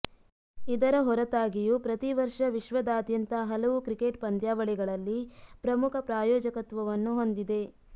ಇದರ ಹೊರತಾಗಿಯೂ ಪ್ರತಿ ವರ್ಷ ವಿಶ್ವದಾದ್ಯಂತ ಹಲವು ಕ್ರಿಕೆಟ್ ಪಂದ್ಯಾವಳಿಗಳಲ್ಲಿ ಪ್ರಮುಖ ಪ್ರಾಯೋಜಕತ್ವವನ್ನು ಹೊಂದಿದೆ